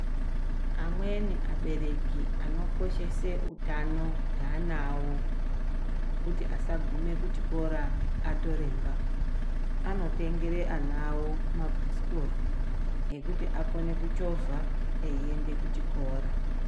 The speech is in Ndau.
Amweni abereki anokoshese utano hweana awo hwekuti asagume kuchikoro atoremba anotengere ana awo mabhasikoro ekuti akone kuchovha eiende kuchikora.